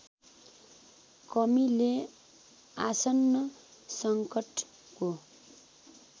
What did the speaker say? कमीले आसन्न सङ्कटको